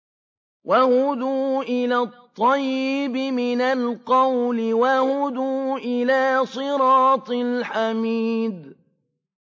وَهُدُوا إِلَى الطَّيِّبِ مِنَ الْقَوْلِ وَهُدُوا إِلَىٰ صِرَاطِ الْحَمِيدِ